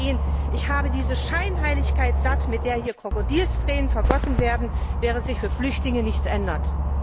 Und ich sage Ihnen Ich habe diese Scheinheiligkeit satt, mit der hier Krokodilstränen vergossen werden, während sich für Flüchtlinge nichts ändert!